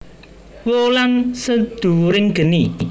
Wulan Sedhuwuring Geni